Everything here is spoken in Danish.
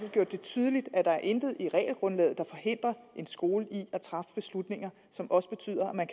gjort det tydeligt at der intet er i regelgrundlaget der forhindrer en skole i at træffe beslutninger som også betyder at man